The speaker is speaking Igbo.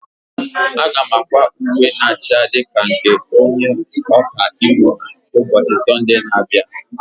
Aga m akwa uwe na acha ndị ka nke onye ọka iwu ụbọchị Sọnde na-abịa.